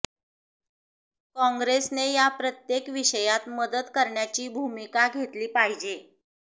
काँग्रेसने या प्रत्येक विषयात मदत करण्याची भूमिका घेतली पाहिजे